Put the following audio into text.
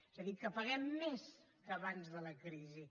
és a dir que paguem més que abans de la crisi